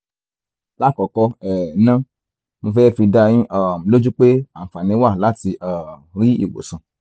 lákọ̀ọ́kọ́ um ná mo fẹ́ fi dáa yín um lójú pé àǹfààní wà láti um rí ìwòsàn